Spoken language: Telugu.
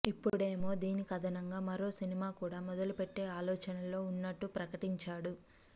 ఇప్పుడేమో దీనికి అదనంగా మరో సినిమా కూడా మొదలుపెట్టే ఆలోచనలో ఉన్నట్టు ప్రకటించాడు